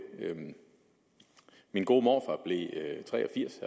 min gode morfar blev tre og firs